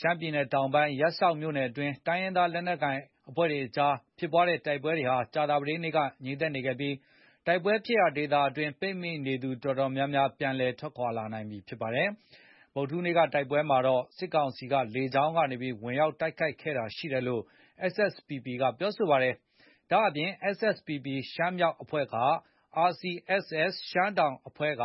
ရှမ်းပြည်နယ်တောင်ပိုင်း ရပ်စောက်မြို့နယ်အတွင်း တိုင်းရင်းသား လက်နက်ကိုင်တွေအကြား ဖြစ်ပွားတဲ့ တိုက်ပွဲဟာ ကြာသာပတေးနေ့က ငြိမ်သက်နေခဲ့ပြီး တိုက်ပွဲဖြစ်ရာ ဒေသအတွင်း ပိတ်မိနေသူ အတော်များများ ပြန်လည် ထွက်ခွာလာနိုင်ပြီဖြစ်ပါတယ်။ ဗုဒ္ဓဟူးနေ့က တိုက်ပွဲမှာတော့ စစ်ကောင်စီက လေကြောင်းကနေ ဝင်ရောက်တိုက်ခိုက်တာ ရှိခဲ့သလို SSPP ရှမ်းမြောက်တပ်ဖွဲ့က RCSS ရှမ်းတောင် တပ်ဖွဲ့က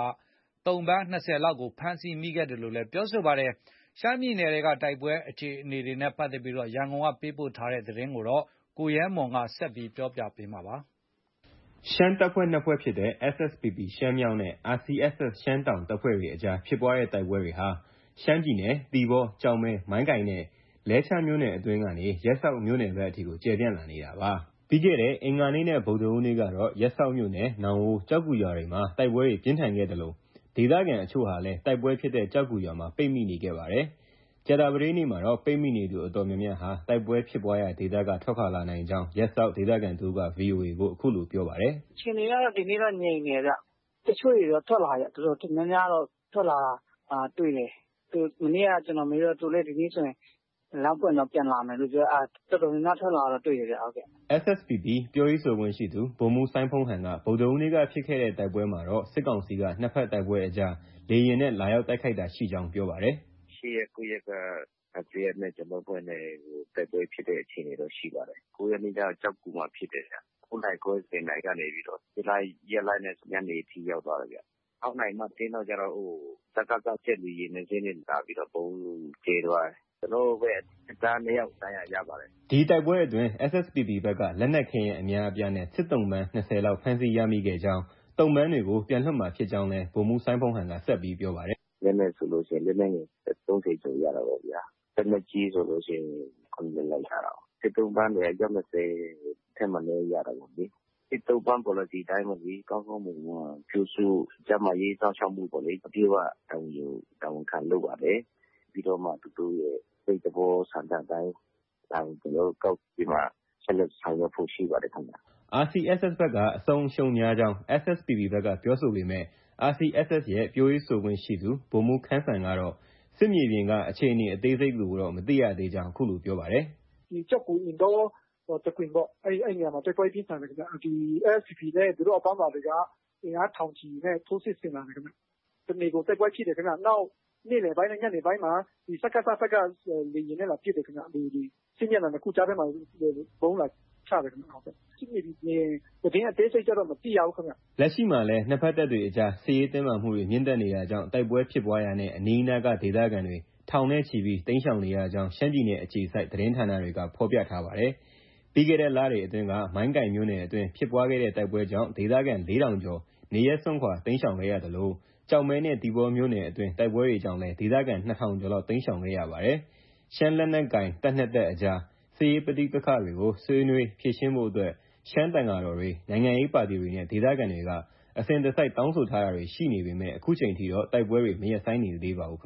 သုံ့ပန်း ၂၀ လောက်ကို ဖမ်းဆီးခဲ့ကြောင်း ပြောပါတယ်။ ရှမ်းပြည်နယ်တောင်ပိုင်း တိုက်ပွဲအခြေအနေ ရန်ကုန်ကပေးပို့လာတဲ့ သတင်းကို ကိုရဲမွန်က ပြောပြပါမယ်။ ရှမ်းတပ်ဖွဲ့ နှစ်ဖွဲ့ဖြစ်တဲ့ SSPP ရှမ်းမြောက် နဲ့ RCSS ရှမ်းတောင်တပ်ဖွဲ့တွေ အကြားဖြစ်ပွားတဲ့ တိုက်ပွဲတွေဟာ ရှမ်းပြည်နယ် သီပေါ၊ ကျောက်မဲ၊ မိုင်းကိုင်နဲ့ လဲချားမြို့နယ်အတွင်းကနေ ရပ်စောက်မြို့နယ်ဘက်အထိ ကျယ်ပြန့်လာနေတာပါ။ ပြီးခဲ့တဲ့ အင်္ဂါနေ့နဲ့ ဗုဒ္ဓဟူးနေ့ကတော့ ရပ်စောက်မြို့နယ် နောင်ဝိုး၊ ကျောက်ဂူရွာတွေမှာ တိုက်ပွဲတွေ ပြင်းထန်ခဲ့သလို ဒေသခံအချို့ဟာလည်း တိုက်ပွဲဖြစ်တဲ့ ကျောက်ဂူရွာမှာ ပိတ်မိနေခဲ့ပါတယ်။ ကြာသာပတေးနေ့မှာတော့ ပိတ်မိနေသူ အတော်များများဟာ တိုက်ပွဲဖြစ်ပွားရာဒေသက ထွက်ခွာလာ နိုင်ကြောင်း ရပ်စောက်ဒေသခံ တစ်ဦးက VOA ကို အခုလို ပြောပါတယ်။ “ အခြေအနေကတော့ ဒီနေ့တော့ ငြိမ်နေတယ်ဗျ။ တချို့တွေတော့ ထွက်လာပြီဗျ။ တော်တော်များများတော့ ထွက်လာတာတွေ့တယ်။ မနေ့က ကျနော်မေးတော့ သူတို့လည်း လမ်းပွင့်ရင်တော့ ပြန်လာမယ်လို့ပြောတယ်။ အဲဒါ တော်များများ ထွက်လာတာတော့ တွေ့တယ်။” SSPP က ပြောရေးဆိုခွင့်ရှှိသူ ဗိုလ်မှူးစိုင်းဖုန်းဟန်က ဗုဒ္ဓဟူးနေ့က ဖြစ်တဲ့ တိုက်ပွဲမှာတော့ စစ်ကောင်စီက နှစ်ဘက်တိုက်ပွဲအကြား လေယာဉ်နဲ့ လာရောက် တိုက်ခိုက်တာရှိကြောင်း ပြောပါတယ်။ “ ၈ ရက်၊ ၉ ရက်က RCSS နဲ့ ကျနော်တို့ အဖွဲ့နဲ့ တိုက်ပွဲဖြစ်တဲ့အခြေအနေတော့ ရှိပါတယ်။ ၉ ရက်နေ့က ကျောက်ဂူမှာ ဖြစ်တယ်ဗျ။ ၉ နာရီခွဲ၊ ၁၀ နာရီကနေပြီးတော့ ပစ်လိုက်၊ ရပ်လိုက်နဲ့ ညနေအထိ ရောက်သွားတယ်ဗျ။ ၆ နာရီ မတ်တင်းလောက်ကျ စကစ ဂျက်လေယာဉ် နှစ်စီးနဲ့ လာပြီးတော့ ဗုံးကြဲသွားတယ်။ ဂျက်လေယာဉ် ပစ်ခတ်မှုနဲ့ပတ်သက်ပြီး ကျနော်ပြောလိုတာက ကျနော်တို့ဘက်က တပ်သားနှစ်ယောက် ဒဏ်ရာရပါတယ်။ ” ဒီတိုက်ပွဲအတွင်း SSPP ဘက်က လက်နက်ခဲယမ်းအများအပြားနဲ့ စစ်သုံ့ပန်း ၂၀လောက် ဖမ်းဆီးရခဲ့ကြောင်း၊ သုံ့ပန်းတွေကို ပြန်လွှတ်မှာဖြစ်ကြောင်းလည်း ဗိုလ်မှူးစိုင်းဖုန်းဟန်က ဆက်ပြောပါတယ်။ “ ပြောမယ်ဆိုရင်တော့ RCSS က အထိအခိုက်များမယ်လို့ ကျနော်တို့ ပြောလို့ ရတယ်။ လက်နက်ဆိုရင် လက်နက်ငယ် ၃၀ကျော်ရတာပေါ့။ လက်နက်ကြီးဆိုရင် ၇ လက်လောက်ရတာကို။ စစ်သုံ့ပန်းတွေက အယောက် ၂၀ထက်မနည်းရတာလေ။ စစ်သုံ့ပန်းပေါ်လစီတိုင်း ကောင်းကောင်းမွန်မွန်ပြုစု၊ ကျန်းမာရေးစောင့်ရှောက်မှု အပြည့်အ၀ တာဝန်ယူ၊ တာဝန်ခံလုပ်ပါတယ်။ ပြီးတော့မှ သူတို့ရဲ့ စိတ်သဘော ဆန္ဒအတိုင်း ဒါကို ကျနော်တို့ ကောက်ပြီးမှ ဆက်လက်ဆောင်ရွက်ဖို့ ရှိပါတယ်။” RCSS ဘက်က အဆုံးအရှုံးများကြောင်း SSPP ဘက်က ပြောဆိုပေမဲ့ RCSS ရဲ့ ပြောရေးဆိုခွင့်ရှိသူ ဗိုလ်မှူး ခမ်းစံကတော့ စစ်မြေပြင် အခြေအနေအသေးစိတ်ကိုတော့ မသိရသေးကြောင်း ပြောပါတယ်။ “ ကျောက်ဂူ၊ အင်တော တခွင်ပေါ့ အဲဒီနေရာမှာ တိုက်ပွဲပြင်းထန်တယ်ခင်ဗျ။ ဒီ SSPP နဲ့ သူတို့ အပေါင်းပါတွေက အင်အား ထောင်ချီနဲ့ ထိုးစစ်ဆင်လာတယ်ခင်ဗျ။ တစ်နေကုန်တိုက်ပွဲဖြစ်တယ်ခင်ဗျ။ နောက် နေ့လည်ပိုင်းနဲ့ ညနေပိုင်းမှာ စကစဘက်က လေယာဉ်နဲ့ လာပစ်တယ်ခင်ဗျ။ ဒီ စစ်မျက်နှာ နှစ်ခုကြားထဲမှာ ဗုံး လာချတယ်ခင်ဗျ။ စစ်မြေပြင်သတင်းအသေးစိတ်ကျတော့ မသိရဘူးခင်ဗျ။ ” လက်ရှိမှာလည်း နှစ်ဘက်တပ်တွေအကြား စစ်ရေးတင်းမာမှုတွေမြင့်တက်နေတာကြောင့် တိုက်ပွဲဖြစ်ပွားရာနဲ့ အနီးအနားက ဒေသခံတွေ ထောင်နဲ့ချီပြီး တိမ်းရှောင်နေရကြောင်း ရှမ်းပြည်နယ်အခြေစိုက် သတင်းဌာနတွေက ဖော်ပြပါတယ်။ ပြီးခဲ့တဲ့လတွေအတွင်းက မိုင်းကိုင်မြို့နယ်အတွင်း ဖြစ်ပွားတဲ့တိုက်ပွဲကြောင့် ဒေသခံ ၄,၀၀၀ ကျော် နေရပ်စွန့်ခွာတိမ်းရှောင်ခဲ့ရသလို ကျောက်မဲနဲ့ သီပေါမြို့နယ်တွင်းတိုက်ပွဲကြောင့်လည်း ဒေသခံ ၂,၀၀၀ ကျော်လောက် တိမ်းရှောင်ခဲ့ရပါတယ်။ ရှမ်းလက်နက်ကိုင် တပ်နှစ်တပ်အကြား စစ်ရေးပဋိပက္ခတွေကို ဆွေးနွေးဖြေရှင်းဖို့အတွက် ရှမ်းသံဃာတော်တွေ၊ နိုင်ငံရေးပါတီတွေနဲ့ ဒေသခံတွေက အစဉ်တစိုက်တာင်းဆိုတာတွေ ရှိပေမယ့် အခုချိန်ထိတော့ တိုက်ပွဲတွေ မရပ်ဆိုင်းနိုင်သေးပါဘူး။